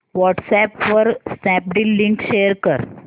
WhatsApp वर Snapdeal link share कर